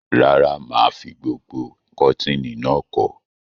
Rárá, mà á fi gbogbo kọ̀tínì náà kọ́.